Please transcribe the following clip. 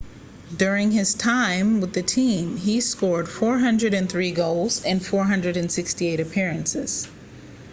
during his time with the team he scored 403 goals in 468 appearances